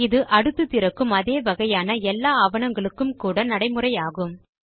இது அடுத்து திறக்கும் அதே வகையான எல்லா ஆவணங்களுக்கும் கூட நடைமுறையாகும்